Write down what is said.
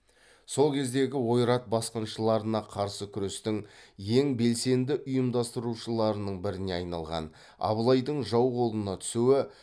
сол кездегі ойрат басқыншыларына қарсы күрестің ең белсенді ұйымдастырушыларының біріне айналған абылайдың жау қолына түсуі